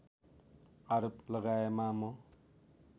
आरोप लगाएमा म